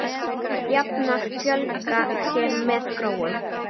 Jafnar fjölga sér með gróum.